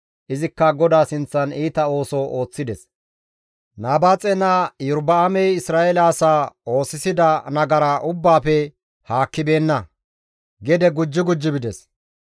Izikka GODAA sinththan iita ooso ooththides; Nabaaxe naa Iyorba7aamey Isra7eele asaa oosisida nagara ubbaafe haakkibeenna; gede gujji gujji bides.